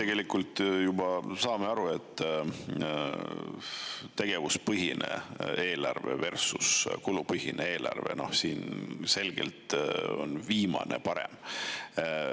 Me kõik saame aru, et tegevuspõhine eelarve versus kulupõhine eelarve – siin selgelt on viimane parem.